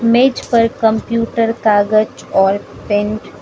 मेज पर कंप्यूटर कागज और पेन --